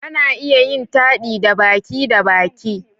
Ana iya yin taɗi da baki da baki